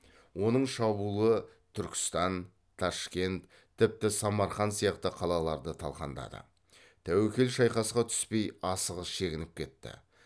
оның шабуылы түркістан ташкент тіпті самарқанд сияқты қалаларды талқандады тәуекел шайқасқа түспей асығыс шегініп кетті